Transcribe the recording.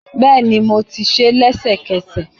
Bẹ́ẹ̀ni, mo tí sé lẹ́sẹ̀kẹsẹ̀